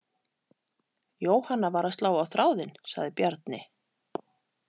Jóhanna var að slá á þráðinn, sagði Bjarni.